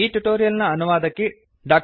ಈ ಟ್ಯುಟೋರಿಯಲ್ ನ ಅನುವಾದಕಿ ಡಾ